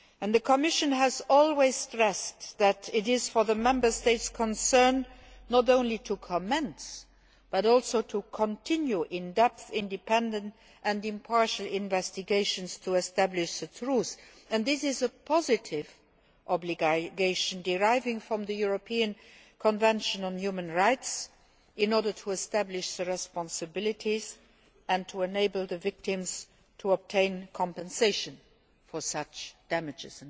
The Commission has always stressed that it is up to the Member States concerned not only to commence but also to continue in depth, independent and impartial investigations to establish the truth. This is a positive obligation deriving from the European Convention on Human Rights in order to establish responsibilities and enable the victims to obtain compensation for such damage.